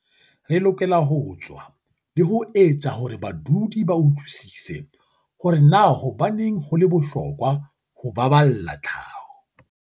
"Re lokela ho tswa le ho etsa hore badudi ba utlwisise hore na hobaneng ho le bohlokwa ho ba balla tlhaho."